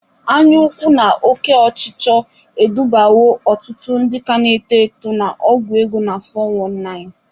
Anya ukwu na oke ọchịchọ edubawo ọtụtụ ndị ka na-eto eto na ọgwọ ego na 'fọ wọn naịnị'.